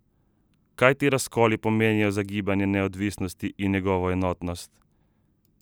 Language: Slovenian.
Kaj ti razkoli pomenijo za gibanje neodvisnosti in njegovo enotnost?